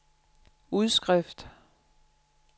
udskrift